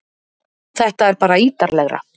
Þetta er bara ítarlegra